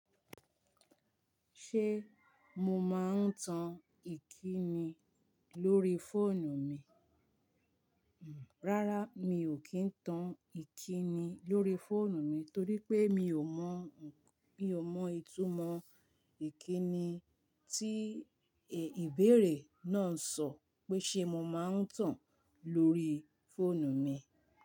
Ṣé mo máa ń tan ìkíni lórí fóònù mi? Rárá mi ò kí ń tan ìkíni lórí fóònù mi torí pé mi ò mọ ìtumọ ìkíni tí ìbéèrè náà ń sọ pé ṣé mo máa ń tan á lórí fóònù mi.